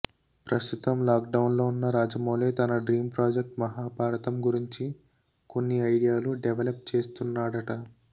ప్రస్తుతం lockdown లో ఉన్న రాజమౌళి తన డ్రీమ్ ప్రాజెక్ట్ మహాభారతం గురించి కొన్ని ఐడియాలు డెవలప్ చేస్తున్నాడట